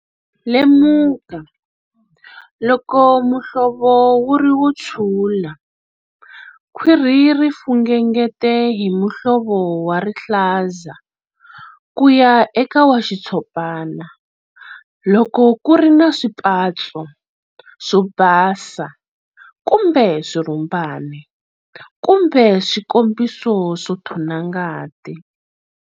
Lemuka loko muhlovo wu ri wo tshula, khwiri ri fungengete hi muhlovo wa rihlaza ku ya eka wa xitshopana, loko ku ri na swipatso swo basa kumbe swirhumbana, kumbe swikombiso swo nthona ngati.